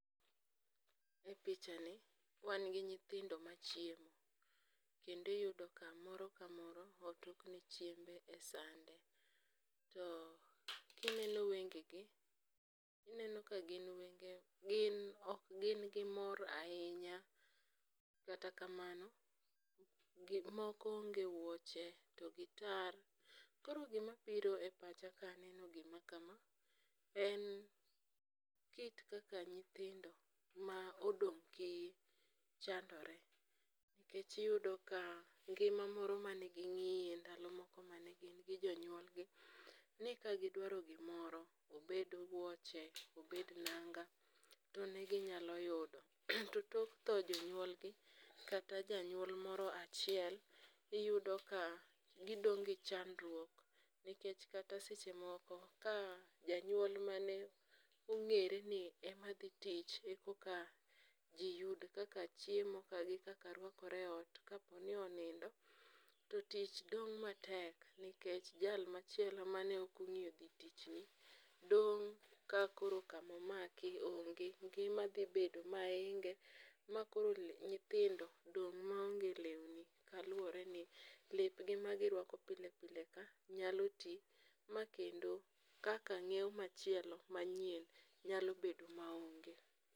E pichani, wan gi nyithindo machiemo kendo iyudo ka moro kamoro otokne chiembe e sande. To kineno wengegi, ineno ka gin wenge, ok gin gi mor ahinya, kata kamano, moko onge wuoche to gitar, koro gimabiro e pacha kaneno gima ka en ,kit kaka nyithindo ma odong' kiye chandore, nikech iyudo ka ngima moro mane ging'iye ndalo moko mane gin gi jonyuolgi, ni kagidwaro gimoro, obed wuoche, obed nanga, to ne ginyalo yudo. to tok tho jonyuolgi kata janyuol moro achiel, iyudo ka gidong' gi chandruok nikech kata seche moko ka janyuol mane ong'ere ni ema dhi tich e koka ji yud kaka chiemo to gi kaka rwakore e ot, kapo ni onindo, to tich dong' matek nikech jal machielo mane ok ong'iyo dhi tichni, dong' ka koro kamomaki onge. Ngima dhi bedo mahinge, makoro nyithindo dong' maonge lewni kaluwore ni lepgi magirwako pile pila ka nyalo ti, makendo kaka nyiew machielo manyien nyalo bedo maonge.